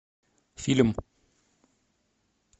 фильм